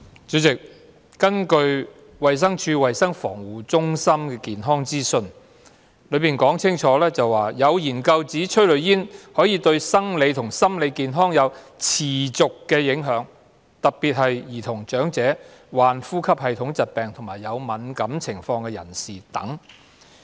主席，衞生署衞生防護中心的健康資訊清楚指出，有研究指催淚煙對生理和心理健康有持續的影響，特別在兒童、長者、患呼吸系統疾病或有敏感情況的人士等。